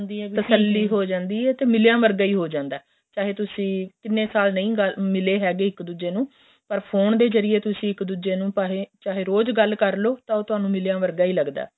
ਤਰ੍ਸ੍ਲੀ ਹੋ ਜਾਂਦੀ ਏ ਤੇ ਮਿੱਲਿਆਂ ਵਰਗਾ ਹੀ ਹੋ ਜਾਂਦਾ ਏ ਚਾਹੇ ਤੁਸੀਂ ਕਿੰਨੇ ਸਾਲ ਨਹੀਂ ਮਿੱਲੇ ਹੈਗੇ ਇੱਕ ਦੂਜੇ ਨੂੰ ਪਰ ਫੋਨ ਜਰੀਏ ਤੁਸੀਂ ਇੱਕ ਦੂਜੇ ਨੂੰ ਚਾਹੇ ਰੋਜ ਗੱਲ ਕਰਲੋ ਤਾਂ ਉਹ ਤੁਹਾਨੂੰ ਮਿਲਿਆਂ ਵਰਗਾ ਹੀ ਲੱਗਦਾ ਏ